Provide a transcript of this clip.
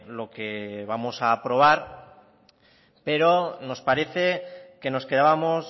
lo que vamos a aprobar pero nos parece que nos quedábamos